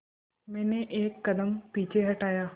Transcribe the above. मैंने एक कदम पीछे हटाया